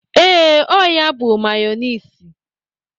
Ee, ọ ya bụ mayọniisi.